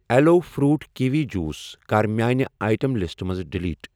Allow fruit kiwi juice کَر میانہِ item لسٹہٕ منٛز ڈیلیٖٹ۔